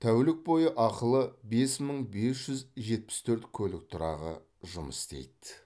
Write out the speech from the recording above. тәулік бойы ақылы бес мың бес жүз жетпіс төрт көлік тұрағы жұмыс істейді